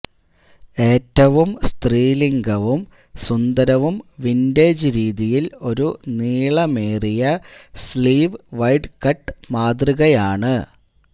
ഏറ്റവും സ്ത്രീലിംഗവും സുന്ദരവും വിന്റേജ് രീതിയിൽ ഒരു നീളമേറിയ സ്ലീവ് വൈഡ് കട്ട് മാതൃകയാണ്